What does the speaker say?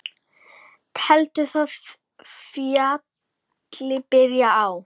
Telst það fjalli byrjun á.